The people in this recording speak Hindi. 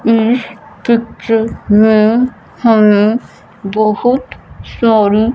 इस पिक्चर में हमें बहोत सारी--